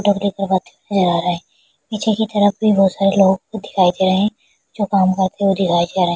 दे रहा है पीछे की तरफ भी बहुत सारे लोग दिखाई दे रहे हैं जो काम करते हुए दिखाई दे रहे हैं।